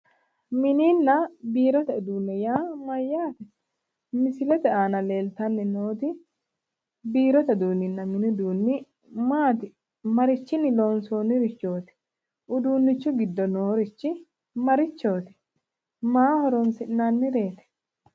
Mininna biirote uduunne yaa mayyaate? Misilete aana leeltanni nooti biirote uduunninna mini uduunni maati? marichinni loonsoonnirichooti? uduunnichu giddo noorichi marichooti? maaho horoonsi'nannireeti?